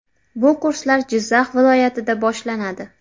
Bu kurslar Jizzax viloyatida boshlanadi.